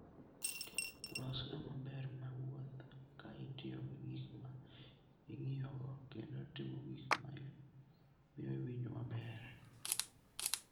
Los kama ber mar wuoth ka itiyo gi gik ma ing'iyogo kendo timo gik ma miyo iwinjo maber.